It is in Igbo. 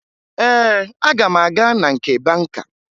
Ee, aga m aga na nke banka